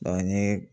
ni